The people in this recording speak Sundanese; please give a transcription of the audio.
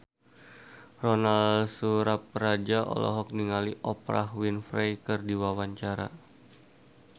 Ronal Surapradja olohok ningali Oprah Winfrey keur diwawancara